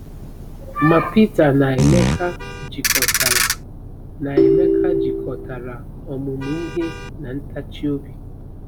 Ma Peter na Emeka jikọtara na Emeka jikọtara ọmụmụ ihe na ntachi obi.